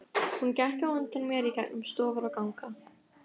Hún gekk á undan mér í gegnum stofur og ganga.